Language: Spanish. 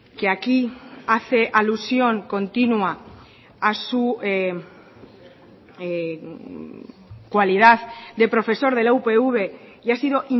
que aquí hace alusión continua a su cualidad de profesor de la upv y ha sido